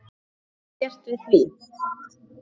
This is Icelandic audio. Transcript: Hvað geturðu gert við því?